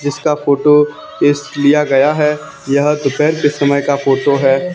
जिसका फोटो इस लिया गया है यह दोपहर के समय का फोटो है।